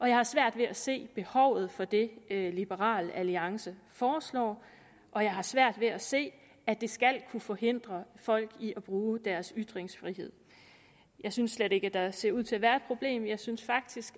jeg har svært ved at se behovet for det liberal alliance foreslår og jeg har svært ved at se at det skal kunne forhindre folk i at bruge deres ytringsfrihed jeg synes slet ikke at der ser ud til at være et problem jeg synes faktisk